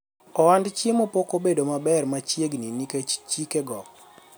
ohand chiemo pok obedo maber machiegni nikech chike go